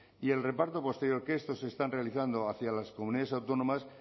y el reparto posterior que estos están realizando hacia las comunidades autónomas